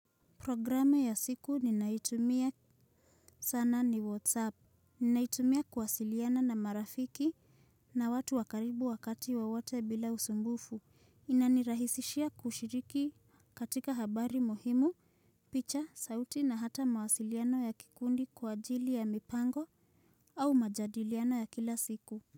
Programu ya siku ninaitumia sana ni Whatsapp. Ninaitumia kuwasiliana na marafiki na watu wakaribu wakati wowote bila usumbufu. Inanirahisishia kushiriki katika habari muhimu, picha, sauti na hata mawasiliano ya kikundi kwa ajili ya mipango au majadiliano ya kila siku.